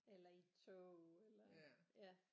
Eller i et tog eller ja